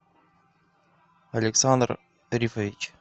александр рифович